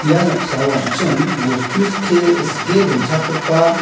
ia noksao an·ching bostu sikke-sike donchakgipa--